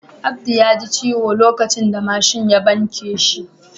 Abdu ya ji ciwo lokacin da mashin ya banke shi.